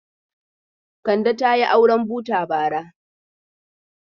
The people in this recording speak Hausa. Kande ta yi auren buta bara.